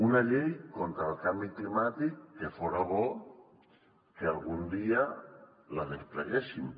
una llei contra el canvi climàtic que fora bo que algun dia la despleguéssim